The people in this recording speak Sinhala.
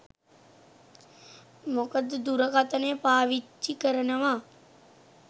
මොකද දුරකථනය පාවිච්චි කරනව